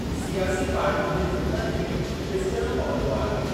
सियासी पार्टयुनि जे झग॒ड़नि में पीसिजणो पवंदो आहे।